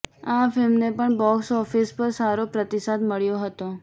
આ ફિલ્મને પણ બોક્સઓફિસ પર સારો પ્રતિસાદ મળ્યો હતો